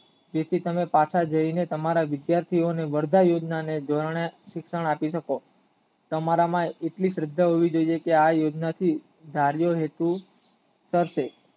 તેથી તમે પાછા જાય ને તમારા વિદ્યાર્થીઓને વરદાય યોજનાને ધોરણે શિક્ષણ આપી શકો તમારા માં એટલી શ્રદ્ધા હોવોઈ જોઇએ કે આ યોજના થી ધરી હેતુ થશે